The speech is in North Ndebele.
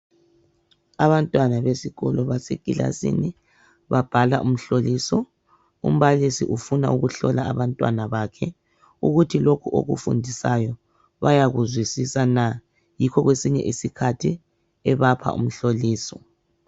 Abantwana besikolo basekilasini babhala umhloliso umbalisi ufuna ukuhlola abantwana bakhe kuthi lokhu okufundisayo bayakuzwisisa na yikho kwesinye isikhathi ebapha umhloliso.